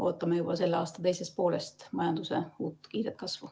Ootame juba selle aasta teisest poolest majanduse uut kiiret kasvu.